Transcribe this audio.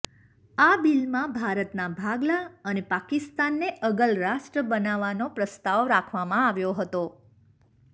આ બિલમાં ભારતના ભાગલા અને પાકિસ્તાનને અગલ રાષ્ટ્ર બનાવવાનો પ્રસ્તાવ રાખવામાં આવ્યો હતો